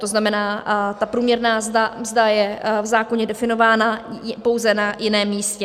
To znamená, ta průměrná mzda je v zákoně definována, pouze na jiném místě.